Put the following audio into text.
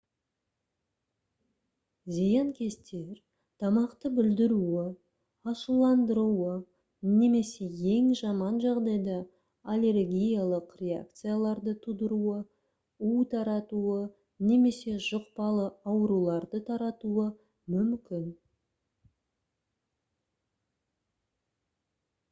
зиянкестер тамақты бүлдіруі ашуландыруы немесе ең жаман жағдайда аллергиялық реакцияларды тудыруы у таратуы немесе жұқпалы ауруларды таратуы мүмкін